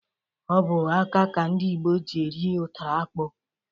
Ọbụ aka ka ndị Igbo ji eri ụtara akpụ.